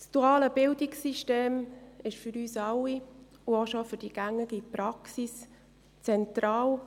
Das duale Bildungssystem ist für uns alle, auch für die gängige Praxis, zentral.